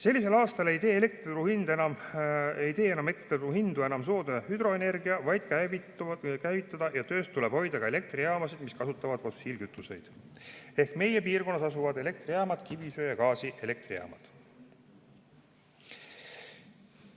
Sellisel aastal ei tee elektriturul hindu enam soodne hüdroenergia, vaid käivitada ja töös tuleb hoida ka elektrijaamasid, mis kasutavad fossiilkütuseid, ehk meie piirkonnas asuvad elektrijaamad, kivisöe- ja gaasielektrijaamad.